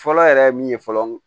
Fɔlɔ yɛrɛ ye min ye fɔlɔ